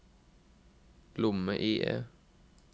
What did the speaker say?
lomme-IE